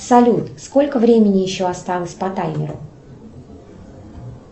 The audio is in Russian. салют сколько времени еще осталось по таймеру